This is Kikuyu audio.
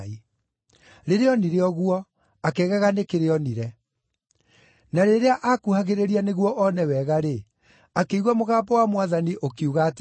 Rĩrĩa onire ũguo, akĩgega nĩ kĩrĩa onire. Na rĩrĩa aakuhagĩrĩria nĩguo one wega-rĩ, akĩigua mũgambo wa Mwathani ũkiuga atĩrĩ: